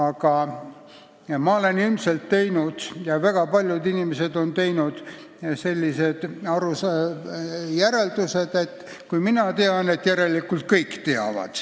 Ja ma olen valesti järeldanud, et kui mina tean, siis järelikult kõik teavad.